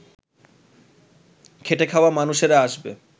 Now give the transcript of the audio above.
খেটে-খাওয়া মানুষেরা আসবে